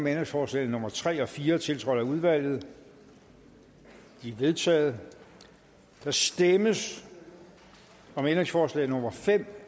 ændringsforslag nummer tre og fire tiltrådt af udvalget de er vedtaget der stemmes om ændringsforslag nummer fem